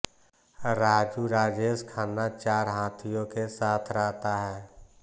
राजू राजेश खन्ना चार हाथियों के साथ रहता है